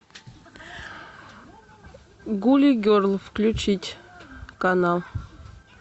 гули герл включить канал